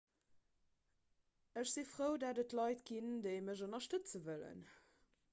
ech si frou datt et leit ginn déi mech ënnerstëtze wëllen